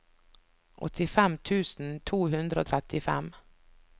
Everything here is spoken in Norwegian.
åttifem tusen to hundre og trettifem